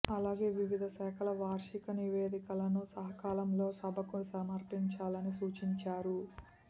అలాగే వివిధ శాఖల వార్షిక నివేదికలను సకాలంలో సభకు సమర్పించాలని సూచించారు